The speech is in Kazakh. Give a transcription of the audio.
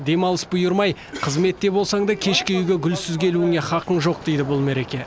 демалыс бұйырмай қызметте болсаң да кешке үйге гүлсіз келуіңе хақың жоқ дейді бұл мереке